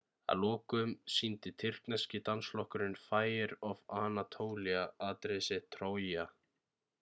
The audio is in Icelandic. að lokum sýndi tyrkneski dansflokkurinn fire of anatolia atriði sitt trója